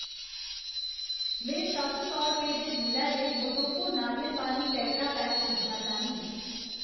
में सत्त सौ रपेऽ दे मुल्लै दे मोजोको नारियल पानी टेट्रापैक खरीदना चाह्न्नीं।